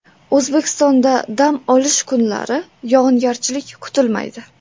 O‘zbekistonda dam olish kunlari yog‘ingarchilik kutilmaydi.